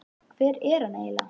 Hver er hann eiginlega?